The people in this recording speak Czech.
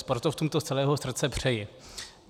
Sportovcům to z celého srdce přeji.